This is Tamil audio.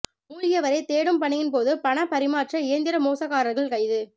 மூழ்கியவரை தேடும் பணியின் போது பண பரிமாற்ற இயந்திர மோசக்காரர்கள் கைது